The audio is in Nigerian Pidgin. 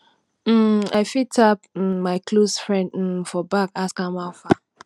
um i fit tap um my close friend um for back ask am how far